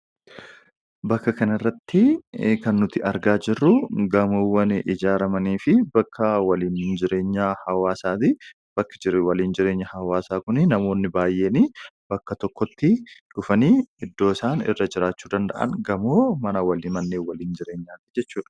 Bakka kanarratti kan nuti argaa jirru gamoowwan ijaarramaniifi bakka waliin jireenyaa hawaasaati. Bakki waliin jireenyi hawaasa kunii namoonni baayyeenii bakka tokkotti dhufanii iddoo isaan irra jiraachuu danda'an gamoo mana waliin manneen waliin jireenyaati jechudha.